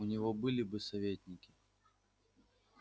у него были бы советники